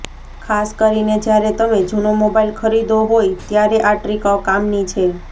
ખાસ કરીને જ્યારે તમે જુનો મોબાઇલ ખરીદ્યો હોય ત્યારે આ ટ્રિક કામની છે